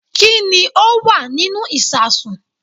Kí ni ó wà nínú ìsasùn